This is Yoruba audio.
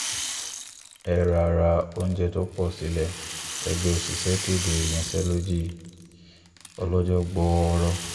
ẹ ra ra oúnjẹ tó pọ̀ sílé ẹgbẹ́ òṣìṣẹ́ kéde ìyanṣẹ́lódì ọlọ́jọ́ gbọọrọ